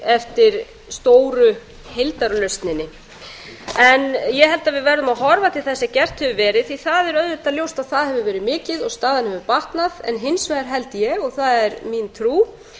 eftir stóru heildarlausninni ég held að við verðum að horfa til þess sem gert hefur verið því að það er ljóst að það hefur verið mikið staðan hefur batnað en hins vegar held ég og það er mín trú